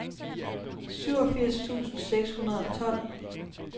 syvogfirs tusind seks hundrede og tolv